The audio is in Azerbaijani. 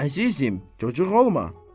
Əzizim, cocuq olma.